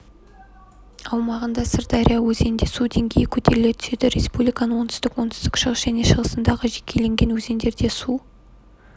аумағындағы сырдария өзенінде су деңгейі көтеріле түседі республиканың оңтүстік оңтүстік-шығыс және шығысындағы жекелеген өзендерде су